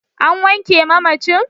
An wanke mamacin?